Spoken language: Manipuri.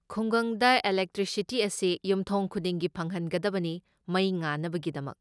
ꯈꯨꯡꯒꯪꯗ ꯢꯂꯦꯛꯇ꯭ꯔꯤꯁꯤꯇꯤ ꯑꯁꯤ ꯌꯨꯝꯊꯣꯡ ꯈꯨꯗꯤꯡꯒꯤ ꯐꯪꯍꯟꯒꯗꯕꯅꯤ ꯃꯩ ꯉꯥꯟꯅꯕꯒꯤꯗꯃꯛꯇ꯫